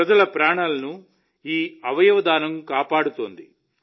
ప్రజల ప్రాణాలను ఈ అవయవదానం కాపాడుతోంది